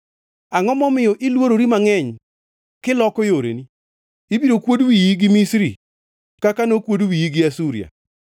Angʼo momiyo ilworori mangʼeny kiloko yoreni? Ibiro kuod wiyi gi Misri kaka nokuod wiyi gi Asuria.